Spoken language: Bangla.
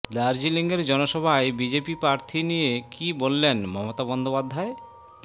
দার্জিলিঙের জনসভায় বিজেপি প্রার্থী নিয়ে কী বললেন মমতা বন্দ্যোপাধ্যায়